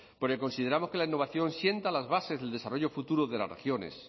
porque consideramos que la innovación sienta las bases del desarrollo futuro de las regiones